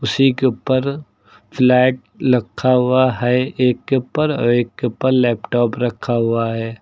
उसी के ऊपर फ्लैग लखा हुआ है एक के ऊपर और एक के ऊपर लैपटॉप रखा हुआ है।